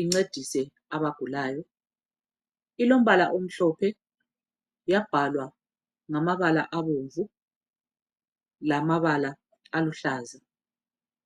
incedise abagulayo ilombala omhlophe yabhalwa ngamabala abomvu lamabala oluhlaza .